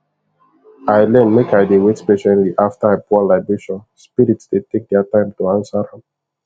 i learn make i dey wait patiently after i pour libation spirit dey take their time to answer am